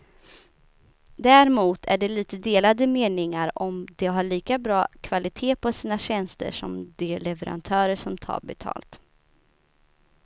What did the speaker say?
Däremot är det lite delade meningar om de har lika bra kvalitet på sina tjänster som de leverantörer som tar betalt.